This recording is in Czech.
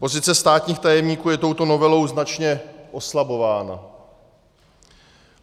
Pozice státních tajemníků je touto novelou značně oslabována.